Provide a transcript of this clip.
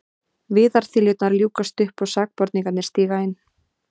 Viðarþiljurnar ljúkast upp og sakborningarnir stíga inn.